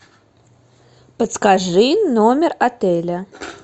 подскажи номер отеля